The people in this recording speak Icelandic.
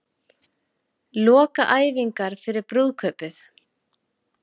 Lokaæfingar fyrir brúðkaupið